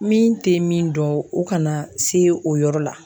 Min te min dɔn o kana se o yɔrɔ la